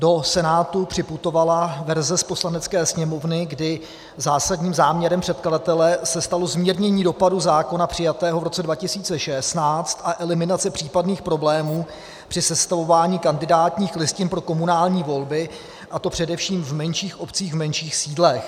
Do Senátu připutovala verze z Poslanecké sněmovny, kdy zásadním záměrem předkladatele se stalo zmírnění dopadů zákona přijatého v roce 2016 a eliminace případných problémů při sestavování kandidátních listin pro komunální volby, a to především v menších obcích, v menších sídlech.